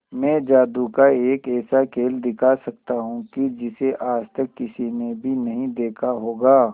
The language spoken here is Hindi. मैं जादू का एक ऐसा खेल दिखा सकता हूं कि जिसे आज तक किसी ने भी नहीं देखा होगा